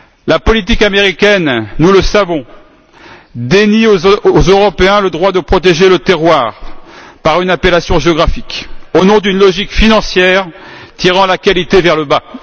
La politique américaine, nous le savons, dénie aux Européens le droit de protéger le terroir par une appellation géographique, au nom d'une logique financière tirant la qualité vers le bas.